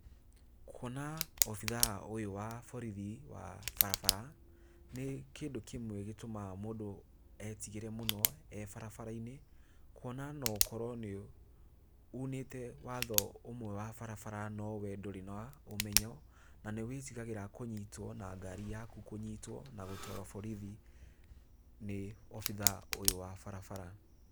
Kuona obithaa ũyũ wa borithi wa barabara, nĩ kĩndũ kĩmwe gĩtũmaga mũndũ etigĩre mũno e barabara-inĩ, kuona no ũkorwo nĩ uunĩte watho ũmwe wa barabara no wee ndũrĩ na ũmenyo na nĩ wĩtigagĩra kũnyitwo na ngari yaku kũnyitwo na gũtwarwo borithi ni obithaa ũyũ wa barabara.